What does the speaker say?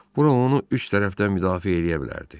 Bura onu üç tərəfdən müdafiə eləyə bilərdi.